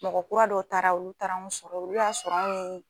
Mɔgɔ kura dɔw taara olu taara anw sɔrɔ ye olu y'a sɔrɔ anw ni